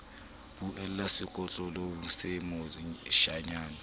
buella setlokotsebe see sa moshanyana